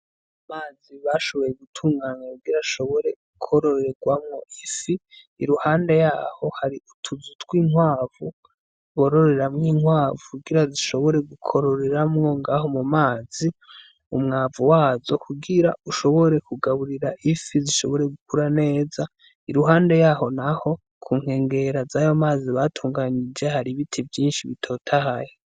Amazi bashoboye gutunganya kugira ashobore kwororerwamwo ifi i ruhande yaho hari utuzu tw'intwavu bororeramwo inkwavu kugira zishobore gukororeramwo ngaho mu mazi umwavu wazo kugira ushobore kugaburira ifi zishobore gukura neza iruhande haho, naho kunkengera zayo mazi batunganije hari ibiti vyinshi bitotahaye.